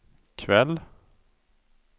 kväll